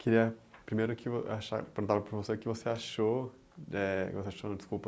Queria primeiro que vo achar, perguntar para você o que você achou, eh que você achou não, desculpa,